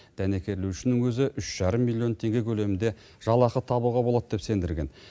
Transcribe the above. дәнекерлеушінің өзі үш жарым миллион теңге көлемінде жалақы табуға болады деп сендірген